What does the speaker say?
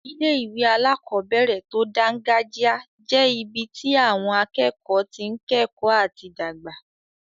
Ilé-ìwé alákobẹ̀rẹ̀ tó dángájíá jẹ́ ibi tí àwọn akẹ́kọ̀ọ́ tí n kẹ́kọ̀ọ́ àti dàgbà